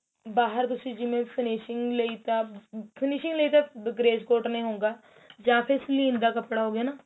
ਬਾਹਰ ਜਿਵੇਂ ਤੁਸੀਂ finishing ਲਈ ਤਾਂ finishing ਲਈ ਤਾਂ grace cotton ਹੀ ਹੋਊਗਾ ਜਾਂ ਫੇਰ ਸਲੀਨ ਦਾ ਕਪੜਾ ਹੋ ਗਿਆ ਹਨਾ